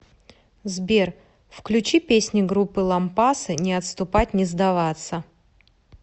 сбер включи песни группы лампасы не отступать не сдаваться